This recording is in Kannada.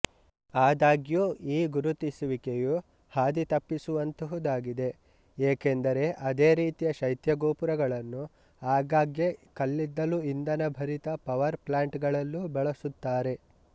ಆದಾಗ್ಯೂ ಈ ಗುರುತಿಸುವಿಕೆಯು ಹಾದಿತಪ್ಪಿಸುವಂತಹುದಾಗಿದೆ ಏಕೆಂದರೆ ಅದೇ ರೀತಿಯ ಶೈತ್ಯಗೋಪುರಗಳನ್ನು ಆಗಾಗ್ಗೆ ಕಲ್ಲಿದ್ದಲುಇಂಭನಭರಿತ ಪವರ್ ಪ್ಲಾಂಟ್ ಗಳಲ್ಲೂ ಬಳಸುತ್ತಾರೆ